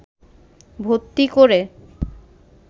ভর্তি করে